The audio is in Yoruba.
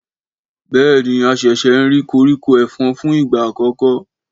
Béèni a ṣẹ̀ṣẹ̀ n rí koríko efòn fún ìgbà àkọ́kọ́